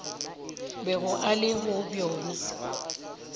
bego a le go bjona